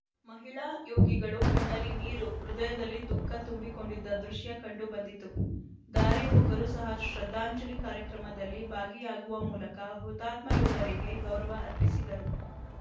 ಮಹಿಳಾ ಯೋಗಿಗಳು ಕಣ್ಣಲ್ಲಿ ನೀರು ಹೃದಯದಲ್ಲಿ ದುಃಖ ತುಂಬಿಕೊಂಡಿದ್ದ ದೃಶ್ಯ ಕಂಡು ಬಂದಿತು ದಾರಿ ಹೋಕರು ಸಹ ಶ್ರದ್ಧಾಂಜಲಿ ಕಾರ್ಯಕ್ರಮದಲ್ಲಿ ಭಾಗಿಯಾಗುವ ಮೂಲಕ ಹುತಾತ್ಮ ಯೋಧರಿಗೆ ಗೌರವ ಅರ್ಪಿಸಿದರು